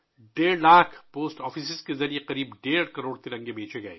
تقریباً 1.5 کروڑ ترنگے 1.5 لاکھ ڈاک خانوں کے ذریعے فروخت کیے گئے